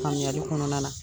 Faamuyali kɔnɔna la